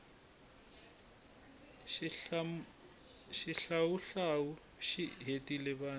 xihlawuhlawu xi hetile vanhu